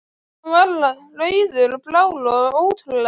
Hann var rauður og blár og ótrúlega flottur.